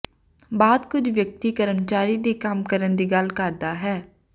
ਬਾਅਦ ਕੁਝ ਵਿਅਕਤੀ ਕਰਮਚਾਰੀ ਦੀ ਕੰਮ ਕਰਨ ਦੀ ਗੱਲ ਕਰਦਾ ਹੈ